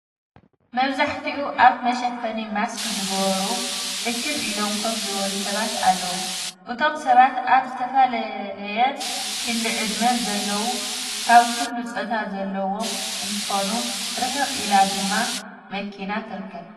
መብዛሕቲኡ ኣፍ መሸፈኒ ማስክ ዝገበሩ እክብ ኢሎም ኮፍ ዝበሉ ሰባት ኣለው፡፡ እቶም ሰባት ኣብ ዝተፈላለየ ክሊ ዕድመ ዘለውን ካብ ኩሉ ፆታ ዘለዎም እንትኾኑ ርሕቅ ኢላ ድማ መኪና ትርከብ፡፡